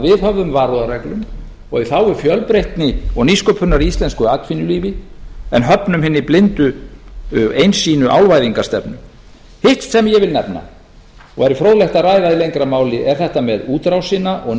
viðhöfðum varúðarreglum og í þágu fjölbreytni og nýsköpunar í íslensku atvinnulífi en höfnum hinni blindu og einsýnu álvæðingarstefnu hitt sem ég vil nefna og væri fróðlegt að ræða í lengra máli er þetta með útrásina og